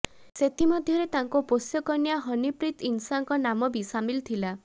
ସେଥିମଧ୍ୟରେ ତାଙ୍କ ପୋଷ୍ୟକନ୍ୟା ହନିପ୍ରୀତ ଇନସାଙ୍କ ନାମବି ସାମିଲ ଥିଲା